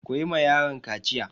Ku yi ma yaron kaciya!